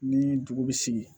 Ni dugu sigi